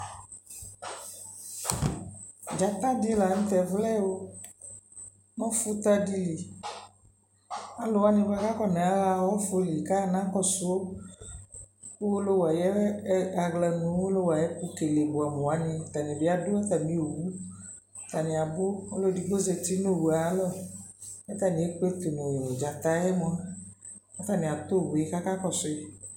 Dzata dι la nʋ tɛ vlɛ o! ɔfuta dι lι Alʋwani kʋ afɔnaɣa ɔfu lι kanaɣa kɔsu Owolowu ayʋ ɛ aɣla mʋ Owolowu ayʋ ɛkʋkele buamuwani atani adʋ atami owʋ Atani abu Ɔlʋedigbo zati nʋ owu yɛ alɔ kʋ atani ekpletʋ nʋ dzata yɛ mua kʋ atani atu owu yɛ kʋ akakɔsuyʋ